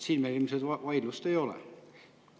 Siin meil ilmselt vaidlust ei ole.